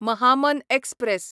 Mahamana express